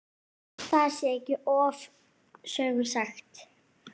Það sé ekki ofsögum sagt.